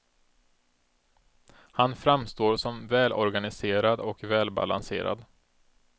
Han framstår som välorganiserad och välbalanserad.